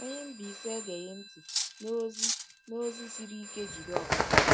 Onye isi Mbaise egeghị ntị n’ozi n’ozi siri ike Jideofor.